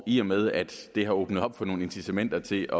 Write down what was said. i og med at det har åbnet op for nogle incitamenter til